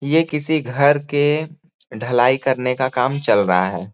ये किसी घर के ढलाई करने का काम चल रहा है।